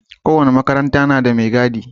Kowane makaranta na da mai gadi.